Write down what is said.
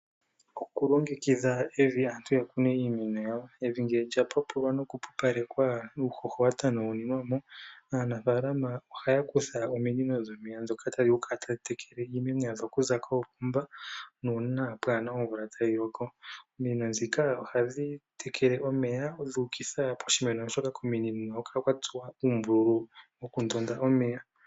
Okulongekidha evi aantu ya kune iimeno yawo. Evi ngele lya pupulwa nokupupalekwa nuuhoho watanawulilwa mo, aanafalama ohaya kutha ominino dhomeya dhoka tadhi vulu oku kala tadhi tekele omeya yadho okuza koopomba, nuuna pwaana omvula tayi loko. Ominino dhika ohadhi tekele omeya dhuukitha poshimeno, oshoko kominino ohaku kala kwa tsuwa uumbululu woku ndonda omeya.